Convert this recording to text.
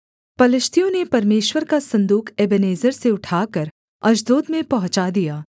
पलिश्तियों ने परमेश्वर का सन्दूक एबेनेजेर से उठाकर अश्दोद में पहुँचा दिया